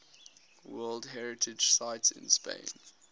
world heritage sites in spain